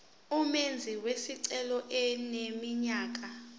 umenzi wesicelo eneminyaka